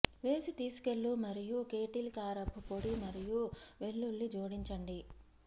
వేసి తీసుకెళ్లు మరియు కేటిల్ కారపు పొడి మరియు వెల్లుల్లి జోడించండి